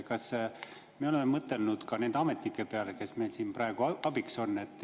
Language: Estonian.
Kas me oleme mõtelnud nende ametnike peale, kes meil siin praegu abiks on?